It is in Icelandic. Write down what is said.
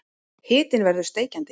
Hitinn verður steikjandi.